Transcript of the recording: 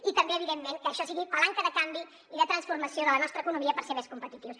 i també evidentment que això sigui palanca de canvi i de transformació de la nostra economia per ser més competitius